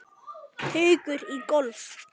Haukur í golf.